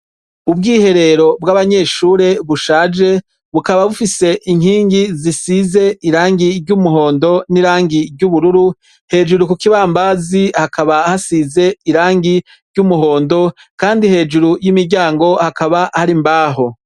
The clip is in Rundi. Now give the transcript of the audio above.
Ubwihero bw'abanyeshure bushaje, bukaba bufise inkingi zisize irangi ry'umuhondo n'irangi ry'ubururu, hejuru ku kibambabazi hakaba hasize irangi ry'umuhondo kandi hejuru y'umuryango hakaba hari imbaho.